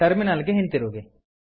terminal ಗೆ ಹಿಂತಿರುಗಿ